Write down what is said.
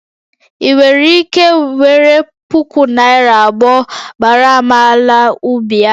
Ị nwere ike were puku naira abụọ gbaara m ala ubi a?